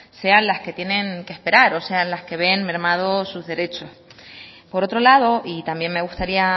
sean las que tienen que esperar o sea las que ven mermados sus derechos por otro lado y también me gustaría